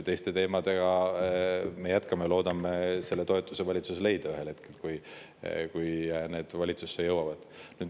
Teiste teemadega me jätkame ja loodame valitsuses toetuse leida ühel hetkel, kui need valitsusse jõuavad.